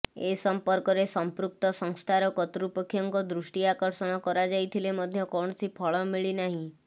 ଏସଂପର୍କରେ ସଂପୃକ୍ତ ସଂସ୍ଥାର କର୍ତ୍ତୃପକ୍ଷଙ୍କ ଦୃଷ୍ଟି ଆକର୍ଷଣ କରାଯାଇଥିଲେ ମଧ୍ୟ କୌଣସି ଫଳ ମିଳିନାହିଁ